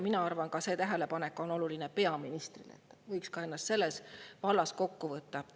Mina arvan, et see tähelepanek on oluline ka peaministrile, et võiks ennast selles vallas kokku võtta.